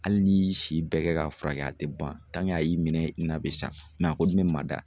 Hali ni y'i si bɛɛ kɛ k'a furakɛ a tɛ ban a y'i minɛ i na bɛ sa a kɔni bɛ maa da.